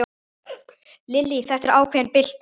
Lillý: Þetta er ákveðin bylting?